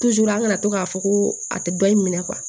an kana to k'a fɔ ko a tɛ dɔ in minɛ